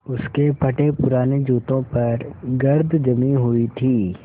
उसके फटेपुराने जूतों पर गर्द जमी हुई थी